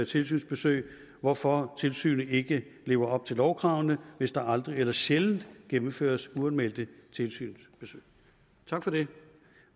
tilsynsbesøg hvorfor tilsynet ikke lever op til lovkravene hvis der aldrig eller sjældent gennemføres uanmeldte tilsynsbesøg tak for det